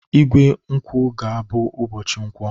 Igba mkwụ ga bụ ụbọchị Nkwọ!